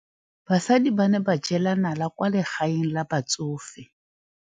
Basadi ba ne ba jela nala kwaa legaeng la batsofe.